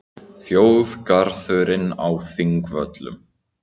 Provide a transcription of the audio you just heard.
Þjóðgarðurinn á Þingvöllum.